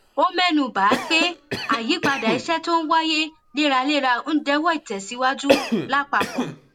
ó ménu bà á pé àyípadà iṣé tó n wáyé léraléra ń dẹwó ìtèsíwájú lápapò